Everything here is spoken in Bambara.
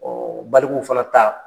baliku fana ta